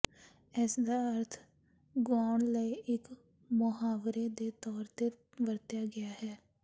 ਇਸਦਾ ਅਰਥ ਗੁਆਉਣ ਲਈ ਇਕ ਮੁਹਾਵਰੇ ਦੇ ਤੌਰ ਤੇ ਵਰਤਿਆ ਗਿਆ ਹੈ